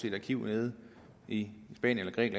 et arkiv nede i spanien